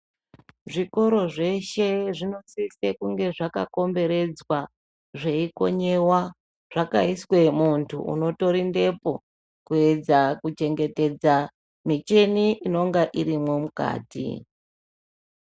Zvikoro zveshe zvinosise kunge zvakakomberedzwa zveikonyiwa. Zvakaiswe muntu unotorindepo, kuedza kuchengetedza michini inonga irimwo mukati.